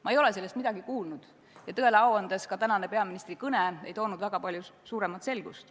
Ma ei ole sellest midagi kuulnud ja tõele au andes ei toonud ka tänane peaministri kõne väga palju selgust.